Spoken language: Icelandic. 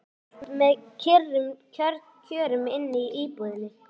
Það var allt með kyrrum kjörum inni í íbúðinni.